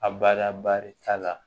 A bada barita la